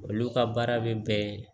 Olu ka baara bɛ bɛn